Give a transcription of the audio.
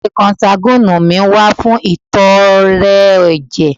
Idile konsaguwini mi wa fun itọrẹ ẹjẹ